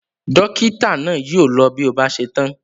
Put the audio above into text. Dọ́kítá náà yóò lọ bí ó bá ṣe tán.